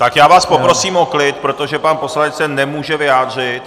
Tak já vás poprosím o klid, protože pan poslanec se nemůže vyjádřit.